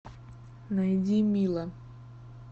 найди мила